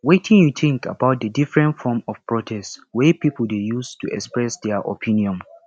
wetin you think about di different forms of protest wey people dey use to express dia opinions